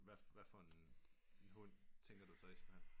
Hvad hvad for en hund tænker du så i skulle have